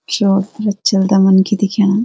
चोउ तरफ चलदा मनखी दिख्येणा।